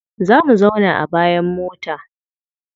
Za mu zauna a bayan mota.